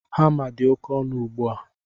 Hama dị oke ọnụ ugbu a